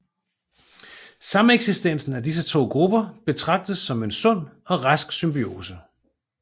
Sameksistensen af disse to grupper betragtes som en sund og rask symbiose